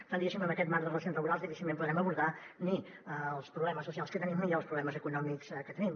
per tant diguéssim amb aquest marc de relacions laborals difícilment podrem abordar ni els problemes socials que tenim ni els problemes econòmics que tenim